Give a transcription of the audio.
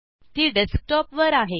ती Desktopवर आहे